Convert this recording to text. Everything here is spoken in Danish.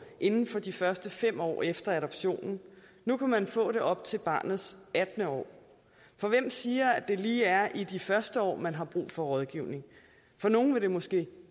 inden for de første fem år efter adoptionen nu kan man få det op til barnets attende år for hvem siger at det lige er i de første år man har brug for rådgivning for nogle vil det måske